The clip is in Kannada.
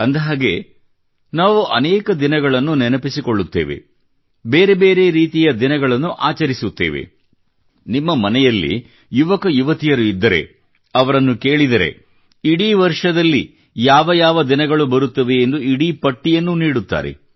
ಅಂದಹಾಗೆ ನಾವು ಅನೇಕ ದಿನಗಳನ್ನು ನೆನಪಿಸಿಕೊಳ್ಳುತ್ತೇವೆ ಬೇರೆ ಬೇರೆ ರೀತಿಯ ದಿನಗಳನ್ನು ಆಚರಿಸುತ್ತೇವೆ ನಿಮ್ಮ ಮನೆಯಲ್ಲಿ ಯುವಕ ಯುವತಿಯರು ಇದ್ದರೆ ಅವರನ್ನು ಕೇಳಿದರೆ ಇಡೀ ವರ್ಷದಲ್ಲಿ ಯಾವ ದಿನ ಎಂದು ಬರುತ್ತದೆ ಎಂದು ಇಡೀ ಪಟ್ಟಿಯನ್ನು ನೀಡುತ್ತಾರೆ